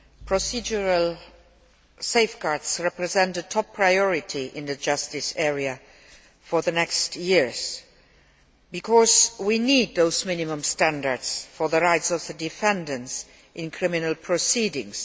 Procedural safeguards represent a top priority in the justice area for the coming years because we need those minimum standards for the rights of the defendants in criminal proceedings.